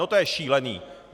No to je šílené!